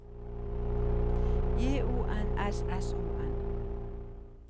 J O N S S O N